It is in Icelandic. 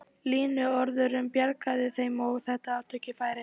Línuvörðurinn bjargaði þeim og þeir áttu ekki færi.